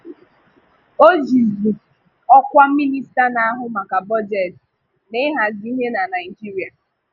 O jìzì ọ̀kwà Minista na-ahụ maka bọ́jetị na ị̀hàzi ihe na Naịjíríà.